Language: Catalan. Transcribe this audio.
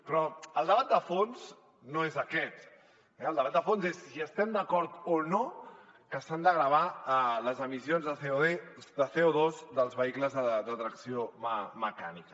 però el debat de fons no és aquest el debat de fons és si estem d’acord o no que s’han de gravar les emissions de cocles de tracció mecànica